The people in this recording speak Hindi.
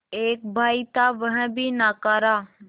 एक भाई था वह भी नाकारा